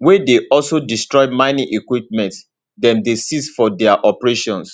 wey dey also destroy mining equipment dem dey seize for dia operations